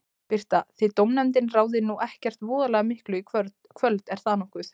Birta: Þið dómnefndin ráðið nú ekkert voðalega miklu í kvöld, er það nokkuð?